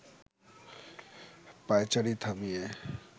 পায়চারি থামিয়ে